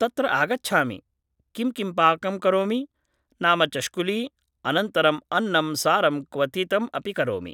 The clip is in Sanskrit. तत्र आगच्छामि, किं किं पाकं करोमि? नाम चष्कुली, अनन्तरम् अन्नं सारं क्वथितम् अपि करोमि